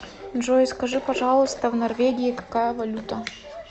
джой скажи пожалуйста в норвегии какая валюта